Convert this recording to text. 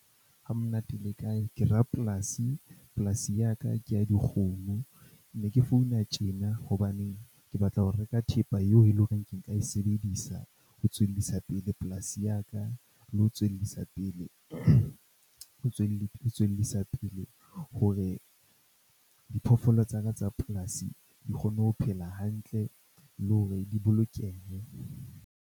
Hamonate le kae? Ke rapolasi, polasi ya ka ke ya dikgomo. Ne ke founa tjena hobane ke batla ho reka thepa eo e leng horeng ke nka e sebedisa ho tswellisa pele polasi ya ka. Le ho tswellisa pele ho tswellisa pele hore diphoofolo tsa ka tsa polasi di kgone ho phela hantle le hore di bolokehe.